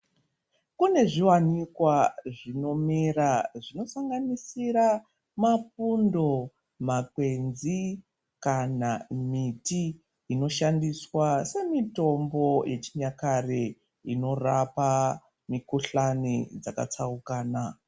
Kune zviwanikwa zvinomera zvinosanganisira mapundo, makwenzi kana miti inoshandiswa semitombo yechinyakare inorapa mikuhlani dzakatsaukana.